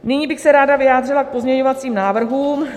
Nyní bych se ráda vyjádřila k pozměňovacím návrhům.